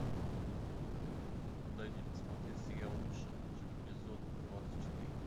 дай мне посмотреть сериал лучше чем эпизод двадцать четыре